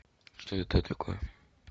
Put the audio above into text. что это такое